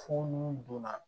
Fo n'u donna